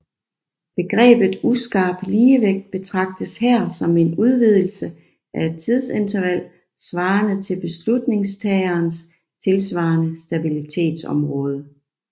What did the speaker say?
Begrebet uskarp ligevægt betragtes her som en udvidelse af et tidsinterval svarende til beslutningstagerens tilsvarende stabilitetsområde